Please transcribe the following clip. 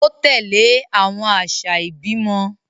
O tẹle awọn aṣa ibimọ